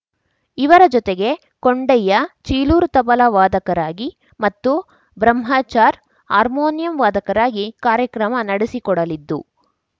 ಇವರ ಜೊತೆಗೆ ಕೊಂಡಯ್ಯ ಚೀಲೂರು ತಬಲ ವಾದಕರಾಗಿ ಮತ್ತು ಬ್ರಹ್ಮಚಾರ್‌ ಹಾರ್ಮೋನಿಯಂ ವಾದಕರಾಗಿ ಕಾರ್ಯಕ್ರಮ ನಡೆಸಿಕೊಡಲಿದ್ದು